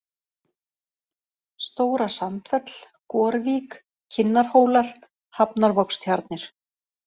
Stóra-Sandfell, Gorvík, Kinnarhólar, Hafnarvogstjarnir